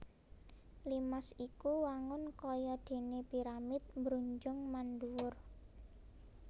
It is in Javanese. Limas iku wangun kaya déné piramid mbrujung mandhuwur